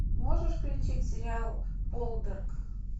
можешь включить сериал полдарк